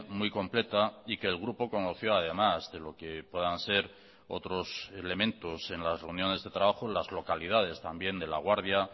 muy completa y que el grupo conoció además de lo que puedan ser otros elementos en las reuniones de trabajo las localidades también de laguardia